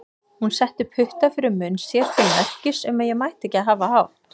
Hún setti putta fyrir munn sér til merkis um að ég mætti ekki hafa hátt.